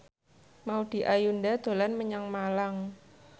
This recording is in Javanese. Maudy Ayunda dolan menyang Malang